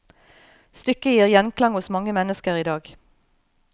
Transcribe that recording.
Stykket gir gjenklang hos mange mennesker i dag.